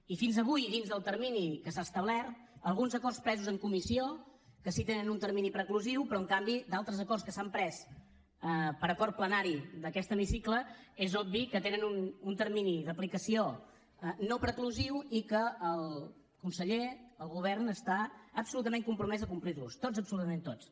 i fins avui dins del termini que s’ha establert alguns acords presos en comissió que sí tenen un termini preclusiu però en canvi altres acords que s’han pres per acord plenari d’aquest hemicicle és obvi que tenen un termini d’aplicació no preclusiu i que el conseller el govern està absolutament compromès a complirlos tots absolutament tots